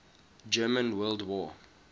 german world war